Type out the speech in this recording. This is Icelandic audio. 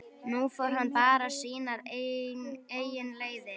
Nú fór hann bara sínar eigin leiðir.